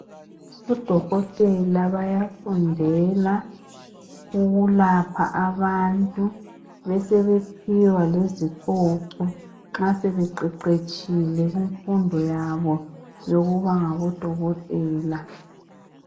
Odokotela bayafundela ukwelapha abantu besebephiwa lezicoco nxa sebeqeqetshile kumfundo yabo yokuba ngodokotela.